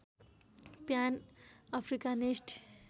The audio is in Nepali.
PAN Africanist